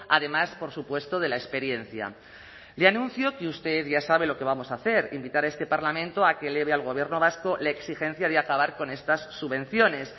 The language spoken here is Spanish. además por supuesto de la experiencia le anuncio que usted ya sabe lo que vamos a hacer invitar a este parlamento a que eleve al gobierno vasco la exigencia de acabar con estas subvenciones